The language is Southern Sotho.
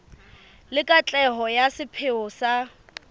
le katleho ya sepheo sa